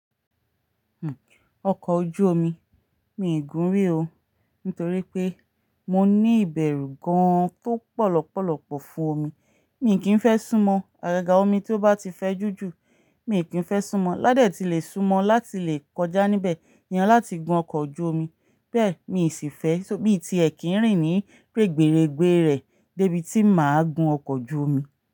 Ọkọ̀ ojú omi, mi gùn rí o nítorí pé mo ní ìbẹ̀rù gan tó pọ̀ lọ́pọ̀lọ́pọ̀ fún omi. Mí kì í fẹ́ súnmọ́, àgàgà omi tí ó bá ti fẹ́ jùjù, mí kì í fẹ́ súnmọ́. Ládé tí lè súnmọ́ láti lè kọjá níbẹ̀, ìyẹn láti gun ọkọ̀ ojú omi. Bẹ́ẹ̀ mi sì fẹ́, só bí i ti ẹ̀ kín rìn ní règberegbe rẹ̀ dé ibi tí mà á gun ọkọ̀ ojú omi.